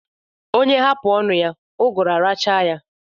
Onye hapụ ọnụ ya, ụgụrụ̀ arachaa ya.